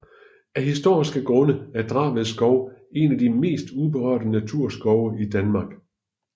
Af historiske grunde er Draved Skov en af de mest uberørte naturskove i Danmark